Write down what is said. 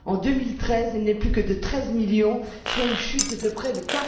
en 2013, elle n'est plus que de 13 millions, soit une chute de près de